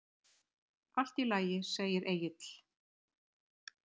Allt í lagi, segir Egill.